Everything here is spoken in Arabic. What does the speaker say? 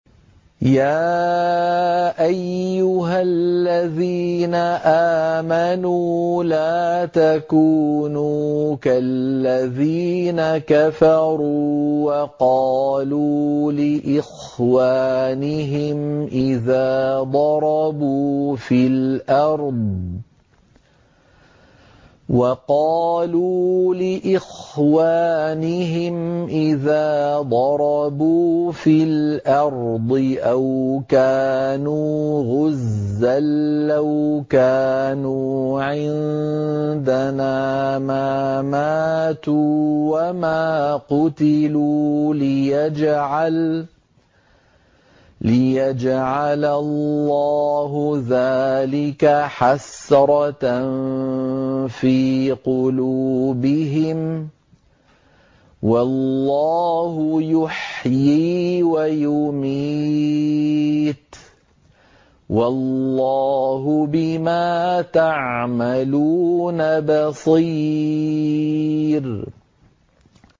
يَا أَيُّهَا الَّذِينَ آمَنُوا لَا تَكُونُوا كَالَّذِينَ كَفَرُوا وَقَالُوا لِإِخْوَانِهِمْ إِذَا ضَرَبُوا فِي الْأَرْضِ أَوْ كَانُوا غُزًّى لَّوْ كَانُوا عِندَنَا مَا مَاتُوا وَمَا قُتِلُوا لِيَجْعَلَ اللَّهُ ذَٰلِكَ حَسْرَةً فِي قُلُوبِهِمْ ۗ وَاللَّهُ يُحْيِي وَيُمِيتُ ۗ وَاللَّهُ بِمَا تَعْمَلُونَ بَصِيرٌ